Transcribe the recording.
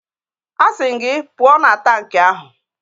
Asị m gị, pụọ na tankị ahụ!